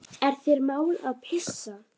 Er þér mál að pissa?